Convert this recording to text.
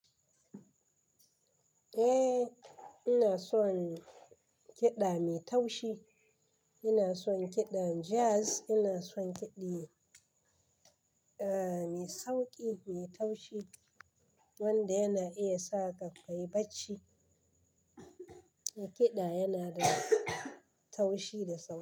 Eh, ina son kiɗa mai taushi. Ina son kiɗan jazz. Ina son kiɗa, eh, mai sauƙi, mai taushi wanda yana iya sa ka kai bacci. Kiɗa yana da taushi da sauƙi.